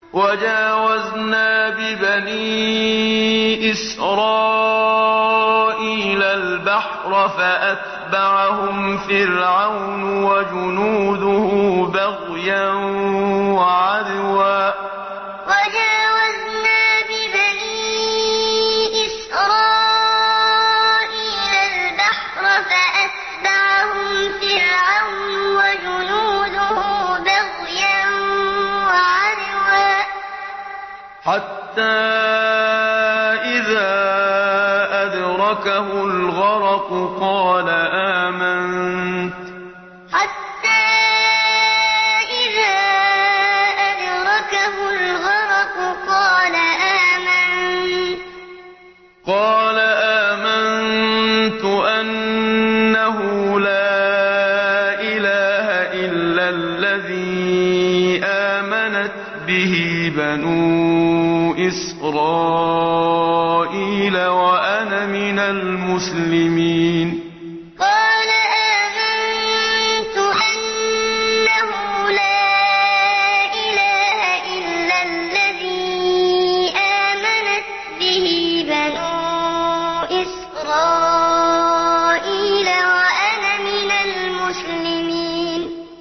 ۞ وَجَاوَزْنَا بِبَنِي إِسْرَائِيلَ الْبَحْرَ فَأَتْبَعَهُمْ فِرْعَوْنُ وَجُنُودُهُ بَغْيًا وَعَدْوًا ۖ حَتَّىٰ إِذَا أَدْرَكَهُ الْغَرَقُ قَالَ آمَنتُ أَنَّهُ لَا إِلَٰهَ إِلَّا الَّذِي آمَنَتْ بِهِ بَنُو إِسْرَائِيلَ وَأَنَا مِنَ الْمُسْلِمِينَ ۞ وَجَاوَزْنَا بِبَنِي إِسْرَائِيلَ الْبَحْرَ فَأَتْبَعَهُمْ فِرْعَوْنُ وَجُنُودُهُ بَغْيًا وَعَدْوًا ۖ حَتَّىٰ إِذَا أَدْرَكَهُ الْغَرَقُ قَالَ آمَنتُ أَنَّهُ لَا إِلَٰهَ إِلَّا الَّذِي آمَنَتْ بِهِ بَنُو إِسْرَائِيلَ وَأَنَا مِنَ الْمُسْلِمِينَ